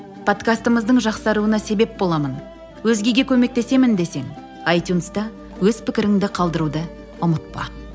подкастымыздың жақсаруына себеп боламын өзгеге көмектесемін десең айтюнста өз пікіріңді қалдыруды ұмытпа